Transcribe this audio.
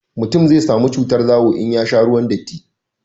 mutum zai samu cutar zawo in ya sha ruwan datti